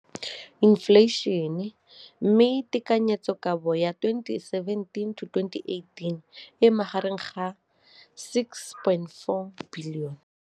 Infleišene, mme tekanyetsokabo ya 2017, 18, e magareng ga R6.4 bilione.